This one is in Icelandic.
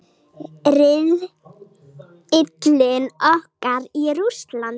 Riðillinn okkar í Rússlandi.